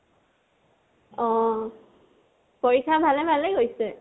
অহ। পৰীক্ষা ভালে ভালে গৈছে?